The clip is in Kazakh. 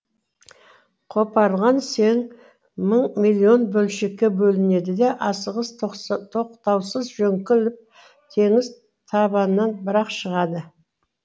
қопарылған сең мың миллион бөлшекке бөлінеді де асығыс тоқтаусыз жөңкіліп теңіз табанынан бір ақ шығады